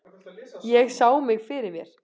Ég sá mig fyrir mér.